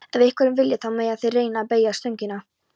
Ef einhverjir vilja, þá mega þeir reyna að beygja stöngina.